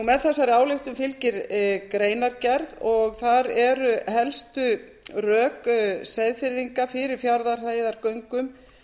með þessari ályktun fylgir greinargerð og þar eru helstu rök seyðfirðinga fyrir fjarðarheiðargöngum